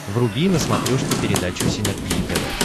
вруби на смотрешке передачу синергия тв